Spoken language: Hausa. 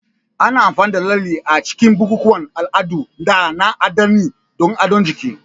Ana amfani da lalle a cikin bukukuwan al'adu da na addini don adon jiki.